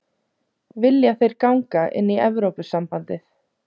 Vilja þeir ganga inn í Evrópusambandið?